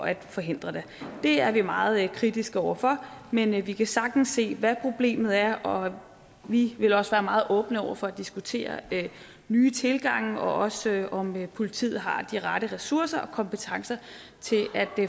at forhindre det det er vi meget kritiske over for men vi kan sagtens se hvad problemet er og vi vil også være meget åbne over for at diskutere nye tilgange og også om politiet har de rette ressourcer og kompetencer til at